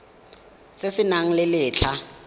se se nang le letlha